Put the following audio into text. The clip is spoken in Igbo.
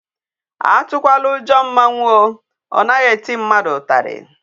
Atụkwala ujo mmanwu a. O naghi eti mmadu utali.